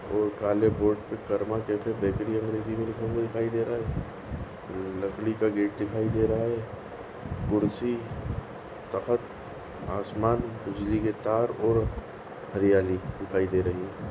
और काले बोर्ड पे कर्मा कैफ़े बेकरी अंग्रेजी में लिखा हुआ है लकड़ी का गेट दिखाई दे रहा है और आसमान बिजली की तार और हरियाली दिखाई दे रही है।